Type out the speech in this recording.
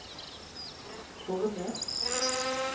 Ornes